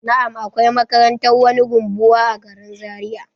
Na'am, akwai makarantar wani rumbuwa a garin zaria.